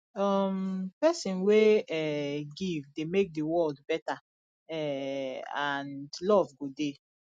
um pesin wey um give dey mek di world beta um and luv go dey